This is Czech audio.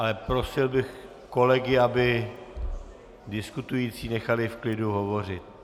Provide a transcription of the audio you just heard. Ale prosil bych kolegy, aby diskutující nechali v klidu hovořit.